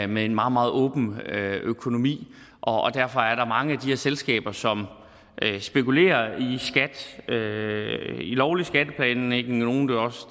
med en meget meget åben økonomi derfor er der mange af de her selskaber som spekulerer i lovlig skatteplanlægning og nogle